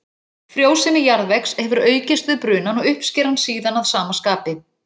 Frjósemi jarðvegs hefur aukist við brunann og uppskeran síðan að sama skapi.